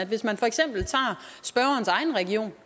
hvis man for eksempel tager spørgerens egen region